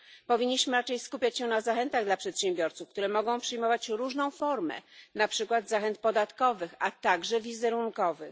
Powinniśmy raczej skupiać się na zachętach dla przedsiębiorców, które mogą przyjmować różną formę na przykład zachęt podatkowych, a także wizerunkowych.